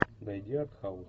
найди артхаус